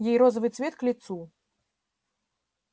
ей розовый цвет к лицу